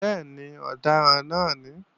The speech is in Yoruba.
Bẹ́ẹ̀ni, ọ̀daràn náà ní